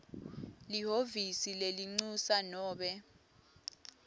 lihhovisi lelincusa nobe